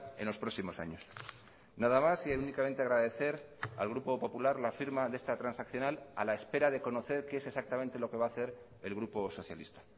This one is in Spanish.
en los próximos años nada más y únicamente agradecer al grupo popular la firma de esta transaccional a la espera de conocer qué es exactamente lo que va a hacer el grupo socialista